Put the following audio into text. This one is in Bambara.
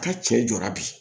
A ka cɛ jɔra bi